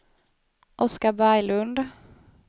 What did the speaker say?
Oskar Berglund